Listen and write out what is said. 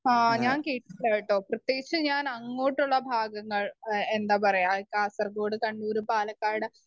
speaker 1 ആ ഞാൻ കേട്ടില്ല കേട്ടോ പ്രേത്യേകിച് ഞാൻ അങ്ങോട്ടുള്ള ഭാഗങ്ങൾ അ എന്താ പറയ കാസർഗോഡ്, കണ്ണൂര്, പാലക്കാട്